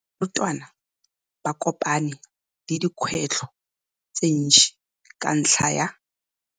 Barutwana ba kopane le dikgwetlho tse dintsi ka ntlha ya.